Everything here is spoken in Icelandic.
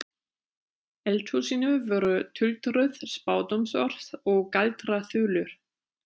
eldhúsinu voru tuldruð spádómsorð og galdraþulur.